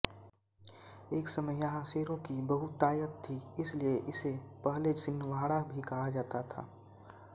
एक समय यहाँ शेरों की बहुतायत थी इसलिए इसे पहले सिन्हवाड़ा भी कहा जाता था